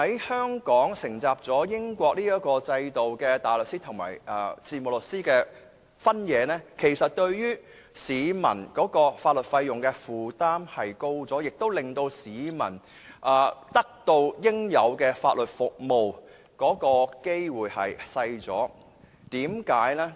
香港承襲了英國的制度，將大律師和事務律師分開，其實是加重了市民在法律費用方面的負擔，亦令市民得到應有法律服務的機會減少。